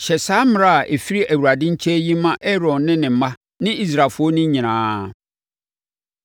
“Hyɛ saa mmara a ɛfiri Awurade nkyɛn yi ma Aaron ne ne mma ne Israelfoɔ no nyinaa.